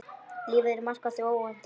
Lífið er markað því óvænta.